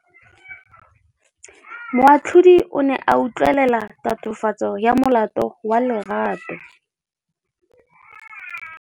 Moatlhodi o ne a utlwelela tatofatsô ya molato wa Lerato.